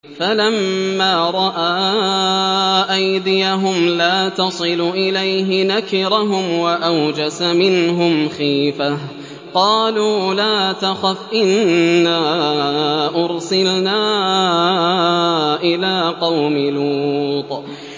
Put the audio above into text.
فَلَمَّا رَأَىٰ أَيْدِيَهُمْ لَا تَصِلُ إِلَيْهِ نَكِرَهُمْ وَأَوْجَسَ مِنْهُمْ خِيفَةً ۚ قَالُوا لَا تَخَفْ إِنَّا أُرْسِلْنَا إِلَىٰ قَوْمِ لُوطٍ